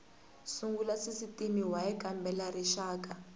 sungula sisitimi y kambela rixaka